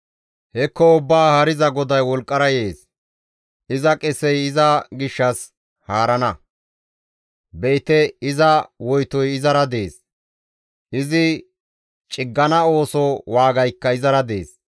Hekko Ubbaa Haariza GODAY wolqqara yees; iza qesey iza gishshas haarana. Be7ite iza woytoy izara dees; izi ciggana ooso waagaykka izara dees.